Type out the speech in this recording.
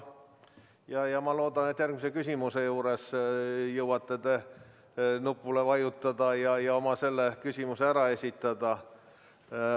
Ma loodan, et järgmise küsimuse juures jõuate nupule vajutada ja oma küsimuse ära esitada.